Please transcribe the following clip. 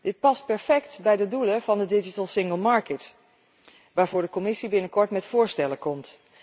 Dit past perfect bij de doelen van de digitale interne market waarvoor de Commissie binnenkort met voorstellen komt.